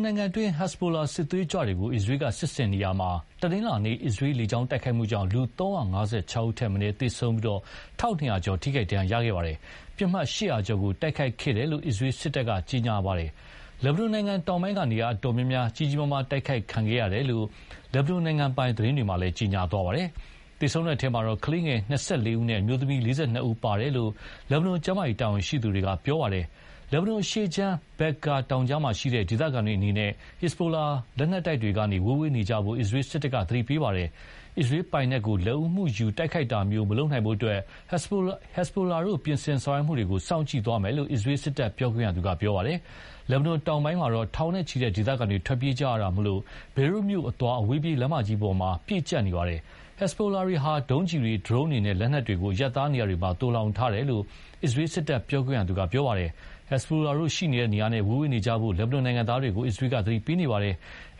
နိုင်ငံတွင်း ဟက်စ်ဘိုလာစစ်သွေးကြွတွေကို အစ္စရေးက စစ်ဆင်ရာမှာ တနင်္လာနေ့ အစ္စရေးလေကြောင်းတိုက်ခိုက်မှုကြောင့် လူ ၂၇၀ ထက်မနည်းသေဆုံးပြီး တထောင်ကျော် ထိခိုက်ဒဏ်ရာရခဲ့ပါတယ်။ ပစ်မှတ် ၈၀၀ ကျော်ကို တိုက်ခိုက်ခဲ့တယ်လို့ အစ္စရေးစစ်တပ်က ကြေညာပါတယ်။ လက်ဘနွန်နိုင်ငံတောင်ပိုင်းက နေရာအတော်များများ ကြီးကြီးမားမားတိုက်ခိုက်ခံခဲ့ရတယ်လို့ လက်ဘနွန်နိုင်ငံပိုင်သတင်းတွေမှာလည်း ကြေညာသွားပါတယ်။ သေဆုံးတဲ့အထဲ ကလေးငယ် ၂၁ ဦးနဲ့ အမျိုးသမီး ၃၉ ဦးပါဝင်တယ်လို့ လက်ဘနွန်ကျန်းမာရေးတာဝန်ရှိသူတွေက ပြောပါတယ်။ လက်ဘနွန်အရှေ့ခြမ်း Bekka တောင်ကြားမှာရှိတဲ့ ဒေသခံတွေအနေနဲ့ ဟက်ဇဘိုလက်နက်တိုက်တွေကနေ ဝေးဝေးနေကြဖို့ အစ္စရေးစစ်တပ်က သတိပေးပါတယ်။ အစ္စရေးပိုင်နက်ကို လက်ဦးမှုယူတိုက်ခိုက်တာမျိုးမလုပ်နိုင်ဖို့အတွက် ဟက်စ်ဘိုလာတို့ ပြင်ဆင်ဆောင်ရွက်မှုတွေကို စောင့်ကြည့်သွားမယ်လို့ အစ္စရေးစစ်တပ်ပြောခွင့်ရသူက ပြောပါတယ်။ လက်ဘနွန်တောင်ပိုင်းမှာတော့ ထောင်နဲ့ချီတဲ့ ဒေသတွေ ထွက်ပြေးကြရတာမို့၊ ဘေရွတ်မြို့အသွား အဝေးပြေးလမ်းမကြီးမှာ ပြည့်ကြပ်နေပါတယ်။ ဟက်ဇ်ဘိုလာတို့ဟာ ဒုံးကျည်တွေ၊ ဒရုန်းတွေနဲ့ လက်နက်တွေကို အရပ်သားနေရာတွေမှာ သိုလှောင်ထားတယ်လို့ အစ္စရေးစစ်တပ်ပြောခွင့်ရသူက ပြောပါတယ်။ ဟက်ဇဘိုလာတို့ရှိနေတဲ့နေရာနဲ့ ဝေးဝေးနေကြဖို့ လက်ဘနွန်နိုင်ငံသားတွေကို အစ္စရေးက သတိပေးနေပါတယ်။